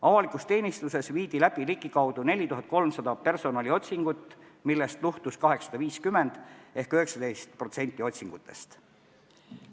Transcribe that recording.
Avalikus teenistuses viidi läbi ligikaudu 4300 personaliotsingut, millest luhtus 850 ehk 19% otsingutest.